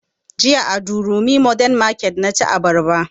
Jiya a durumi modern market na ci abarba